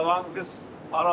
Yalan deyil.